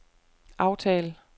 aftal